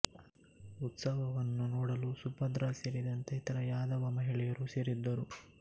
ಉತ್ಸವವನ್ನು ನೋಡಲು ಸುಭದ್ರಾ ಸೇರಿದಂತೆ ಇತರ ಯಾದವ ಮಹಿಳೆಯರೂ ಸೇರಿದ್ದರು